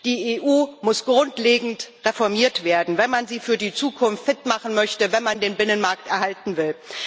Die EU muss grundlegend reformiert werden, wenn man sie für die Zukunft fit machen möchte, wenn man den Binnenmarkt erhalten will.